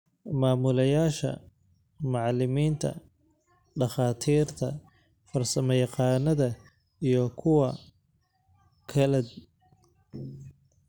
Maamulayaasha, macalimiinta, dhakhaatiirta, farsamayaqaannada, iyo kuwa kale).